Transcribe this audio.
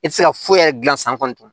E ti se ka foyi yɛrɛ gilan san kɔni